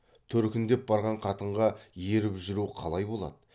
төркіндеп барған қатынға еріп жүру қалай болады